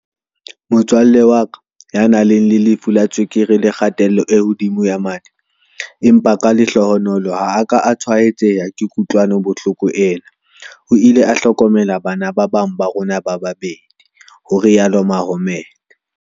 "vtsale wa ka, ya nang le lefu la tswekere le kgatello e hodimo ya madi empa ka lehlohonolo ha a ka a tshwaetseha ke kokwanahloko ena, o ile a hlokomela bana ba bang ba rona ba babedi," ho rialo Mohammed.